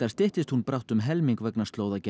styttist brátt um helming vegna